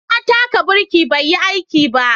Na taka birki bai yi aiki ba